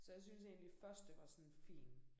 Så jeg synes egentlig første var sådan fint